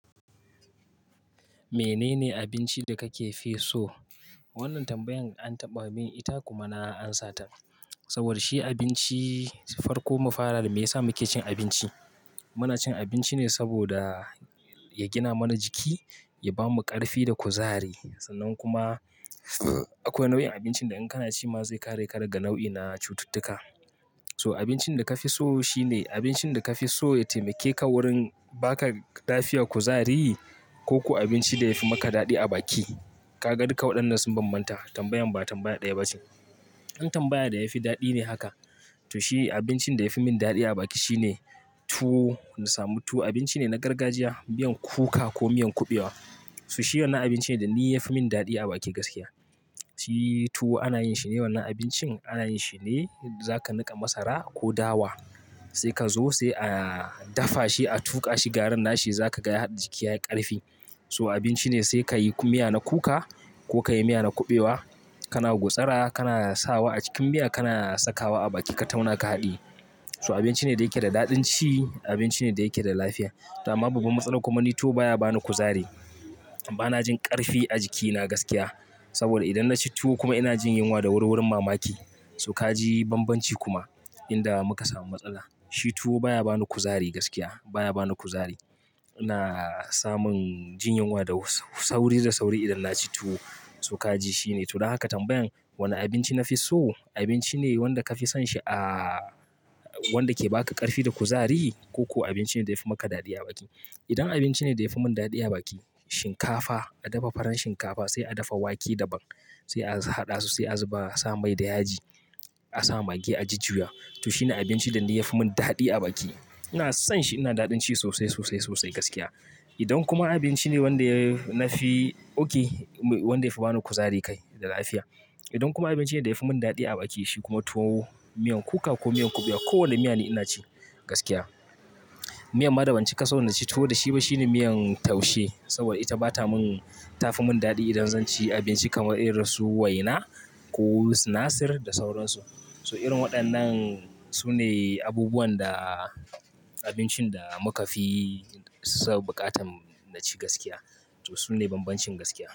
Menene abinci da kake fi so? Wannan tambayan an taɓa min ita kuma na amsa ta. Saboda shi abinci farko mu fara da me yasa muke cin abinci. Muna cin abinci ne saboda ya gina mana jiki, ya bamu ƙarfi da kuzari sannan kuma akwai nau'in abincin da in kana ci ma zai kare ka daga nau'ina cututtuka. So abincin da ka fi so shine abincin da ka fi so ya taimake ka wurin baka lafiya, kuzari ko abinci da yafi maka daɗi a baki. Kaga duk waɗannan sun bambanta tambayan ba tambaya ɗaya ba ce. An tambaya da yafi daɗi ne haka to shi abincin da yafi min daɗi a baki shine tuwo. Na samu tuwo abinci ne na gargajiya, miyan kuka ko miyan kuɓewa. To shi wannan abinci ne da ni yafi min daɗi a baki gaskiya. Shi tuwo ana yin shi ne wannan abincin ana yin shi ne zaka niƙa masara ko dawa sai ka zo sai a dafa shi a tuƙa shi garin nashi zaka ga jiki yayi ƙarfi. So abinci ne sai ka yi kuma miya na kuka ko ka yi miya na kuɓewa kana gutsura kana sawa a cikin miya kana sakawa a baki ka tauna ka haɗiyi. So abinci ne da yake da daɗin ci, abinci ne da yake da lafiya. To amma babban matsalan kuma ni tuwo baya bani kuzari. Bana jin ƙarfi a jikina gaskiya saboda idan na ci tuwo kuma ina jin yunwa da wuri wurin mamaki. So ka ji bambanci kuma inda muka samu matsala. Shi tuwo baya bani kuzari gaskiya baya bani kuzari. Na samu jin yunwa da sauri da sauri idan na ci tuwo. So ka ji shine to don haka tambayan wane abinci nafi so? Abinci ne wanda ka fi son shi a wanda ke baka ƙarfi da kuzari ko abinci ne da yafi maka daɗi a baki. Idan abinci ne da yafi min daɗi a baki shinkafa, a dafa farar shinkafa sai a dafa wake daban sai a haɗa su sai a zuba sa mai da yaji, a sa mage a jujjuya. To shine abinci da ni yafi min daɗi a baki. Ina son shi, yana daɗin ci sosai, sosai, sosai gaskiya. Idan kuma abinci ne wanda nafi oke wanda yafi bani kuzari kai da lafiya. Idan kuma abinci ne da yafi min daɗi a baki shi kuma tuwo, miyan kuka ko miyan kuɓewa ko wanna miya ne ina ci gaskiya. Miyar ma daban ci ka so na ci tuwo da shi ba shine miyan taushe saboda ita bata mun tafi min daɗi idan zan ci abinci kamar irin su waina ko sinasir da sauransu. So irin waɗannan sune abubuwan da abincin da muka fi so buƙatan na ci gaskiya. To sune bambancin gaskiya.